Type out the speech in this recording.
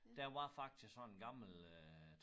Der var faktisk sådan gammel øh